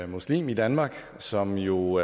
muslim i danmark som jo